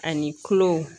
Ani kulo